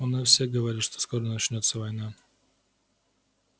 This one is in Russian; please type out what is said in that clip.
у нас все говорят что скоро начнётся война